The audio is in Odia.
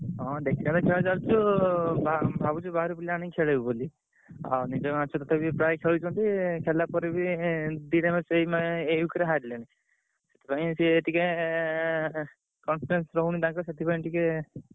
ହଁ ଖେଳ ଚାଲିଚି ଆଉ ଭା~ ଭାବୁଛୁ ବାହାରୁ ପିଲା ଆଣି ଖେଳିବୁ ବୋଲି। ଆଉ ବି ପ୍ରାୟ ଖେଳୁଛନ୍ତି। ଖେଳିଲା ପରେ ବି ଏଁ ଦିଟା match ଏଇ ମାନେ ଏଇ week ରେ ହାରିଲେଣି। ସେଥିପାଇଁ ସିଏ ଟିକେ ଏଁ ରହୁନି ତାଙ୍କର ସେଥିପାଇଁ ଟିକେ ।